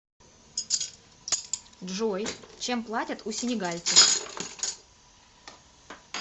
джой чем платят у сенегальцев